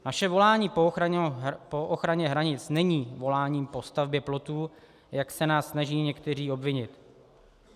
Naše volání po ochraně hranic není voláním po stavbě plotu, jak se nás snaží někteří obvinit.